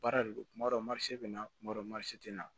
Baara de don kuma dɔ marise bɛ na kuma dɔ marise tɛ na